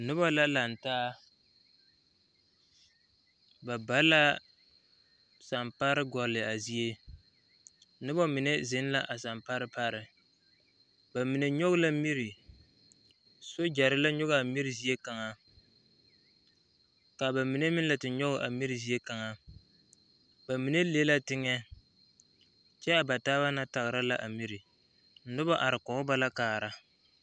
Yie la taa koɔ ka lɔɔpelaa be a koɔ poɔ ka bie do are a lɔre zu kyɛ seɛ kurisɔglaa kyɛ yage o kparoŋ ka teere meŋ are a yie puori seŋ kyɛ ka vūūmie meŋ a wa gaa.